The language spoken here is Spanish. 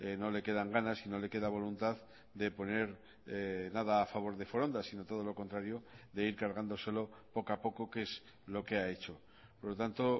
no le quedan ganas y no le queda voluntad de poner nada a favor de foronda si no todo lo contrario de ir cargándoselo poco a poco que es lo que ha hecho por lo tanto